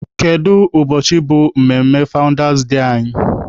Kedu ụbọchị bụ mmemme fawụndas dee anyị?